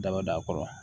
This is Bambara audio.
Daba a kɔrɔ